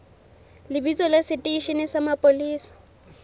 lebitso la seteishene sa mapolesa